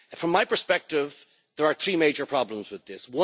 From my perspective, there are three major problems with this.